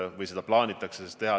Vähemalt seda plaanitakse teha.